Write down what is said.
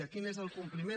quin és el compliment